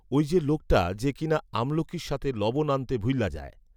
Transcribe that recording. ঐযে লোকটা যে কিনা আমলকির সাথে লবণ আনতে ভুইলা যায়